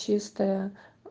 чистая